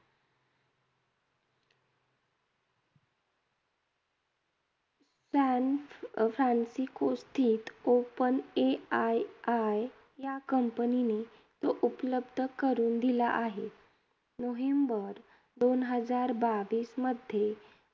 San फ्रँन्सिस्कोस्थित open AII या company ने उपलब्ध करून दिला आहे. नोव्हेंबर दोन हजार बाविसमध्ये,